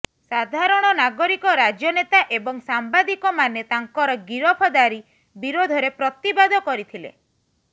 ସାଧାରଣ ନାଗରିକ ରାଜନେତା ଏବଂ ସାମ୍ବାଦିକମାନେ ତାଙ୍କର ଗିରଫଦାରି ବିରୋଧରେ ପ୍ରତିବାଦ କରିଥିଲେ